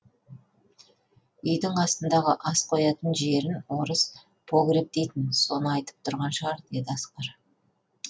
үйдің астындағы ас қоятын жерін орыс погреб дейтін соны айтып тұрған шығар деді асқар